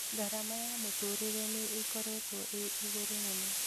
Garama ya mũtũrĩre nĩ ĩkoretwo ĩ igũrũ mũno